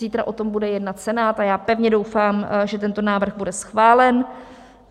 Zítra o tom bude jednat Senát a já pevně doufám, že tento návrh bude schválen.